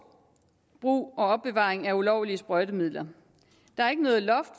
brug og opbevaring af ulovlige sprøjtemidler der er ikke noget loft